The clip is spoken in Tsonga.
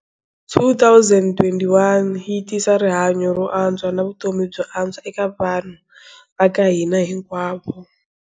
2021 yi tisa rihanyu ro antswa na vutomi byo antswa eka vanhu va ka hina hinkwavo.